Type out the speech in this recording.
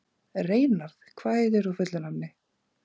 Reynarð, hvað heitir þú fullu nafni?